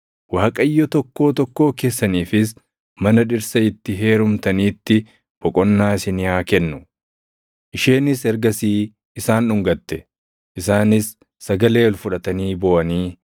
Waaqayyo tokkoo tokkoo keessaniifis mana dhirsa itti heerumtaniitti boqonnaa isinii haa kennu.” Isheenis ergasii isaan dhungate; isaanis sagalee ol fudhatanii booʼanii